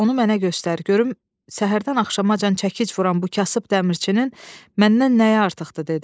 Onu mənə göstər, görüm səhərdən axşamacan çəkic vuran bu kasıb dəmirçinin məndən nəyi artıqdır?" - dedi.